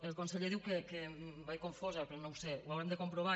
el conseller diu que vaig confosa però no ho sé ho haurem de comprovar